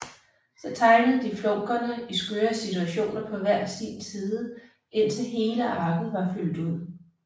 Så tegnede de flunkerne i skøre situationer på hver sin egen side indtil hele arket var fyldt ud